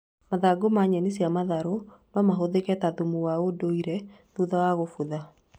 Mathangũ ma nyeni cia matharũ no mahũthĩke ta thumu wa ũnduire thutha wa gũbutha